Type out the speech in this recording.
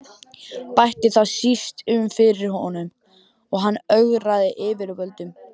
Bætti það síst um fyrir honum, að hann ögraði yfirvöldum.